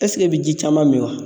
i bɛ ji caman min wa?